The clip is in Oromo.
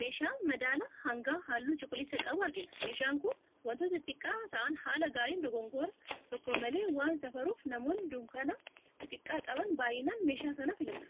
Meeshaa madaala hangaa halluu cuquliisa qabu argina. Meeshaan kun wantoota xixiqqaa ta'aan haala gaariin dogongora tokko malee waan safaruuf namoonni dunkaana xixiqqaa qaban baayyinaan meeshaa kana filatu.